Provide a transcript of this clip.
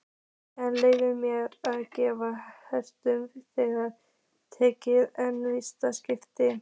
Er leyfilegt að gefa á samherja þegar tekin er vítaspyrna?